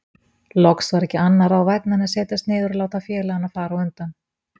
Loks var ekki annað ráð vænna en setjast niður og láta félagana fara á undan.